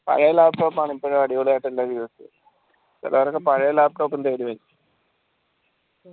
പഴയ laptop ആണ് ഇപ്പോഴും അടിപൊളിയായി use യാം ചിലര് പഴേ laptop ഇൻഡോ ചോയ്ക്കും